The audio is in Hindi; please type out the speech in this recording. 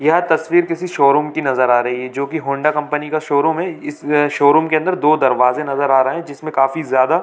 यह तस्वीर किसी शोरूम की नजर आ रही है जो की हौंडा कंपनी का शोरूम है इस शोरूम के अंदर दो दरवाजे नजर आ रहा है जिसमें काफी ज्यादा--